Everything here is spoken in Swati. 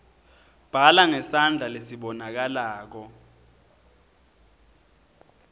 bhala ngesandla lesibonakalako